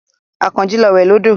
Àkànjí lọ wẹ̀ lódò.